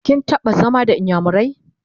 kin taɓa zama da inyamurai?